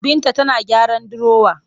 Binta tana gyaran dirowa